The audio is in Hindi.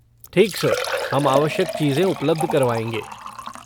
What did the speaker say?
ठीक सर, हम आवश्यक चीज़ें उपलब्ध करवाएँगे।